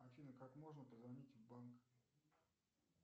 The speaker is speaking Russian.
афина как можно позвонить в банк